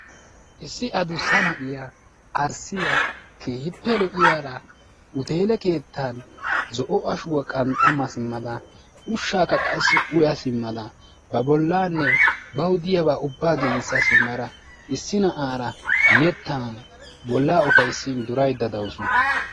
issi adusa na'iya arssiya keehippe lo'iyara huteele keettean zo'o ashuwa qanxxa ma simada ushaakka qassi uya simada ba bolaane bawu diyaba ubaa giigisa simada issi na'aara yetan bolaa ufayssin durayddda dawusu.